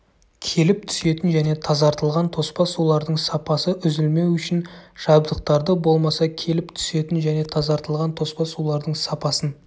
келіп түсетін және тазартылған тоспа сулардың сапасы үзілмеу үшін жабдықтарды болмаса келіп түсетін және тазартылған тоспа сулардың сапасын